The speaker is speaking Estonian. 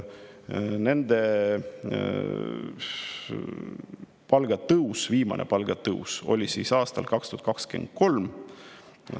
Nende viimane palgatõus oli aastal 2023.